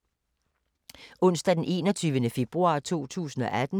Onsdag d. 21. februar 2018